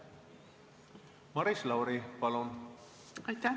Maris Lauri, palun!